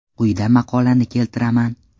Quyida maqolani keltiraman.